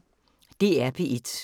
DR P1